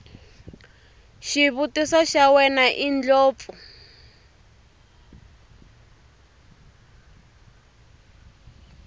xivutiso xa wena indlopfu